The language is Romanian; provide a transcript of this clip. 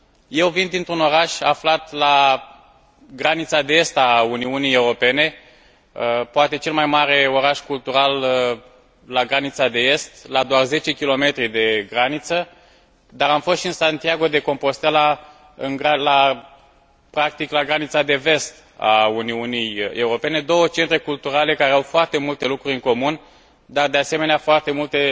Eu vin dintr un oraș aflat la granița de est a Uniunii Europene, poate cel mai mare oraș cultural la granița de est, la doar 10 km de graniță, dar am fost și în Santiago de Compostela, practic la granița de vest a Uniunii Europene două centre culturale care au foarte multe lucruri în comun dar, de asemenea, foarte multe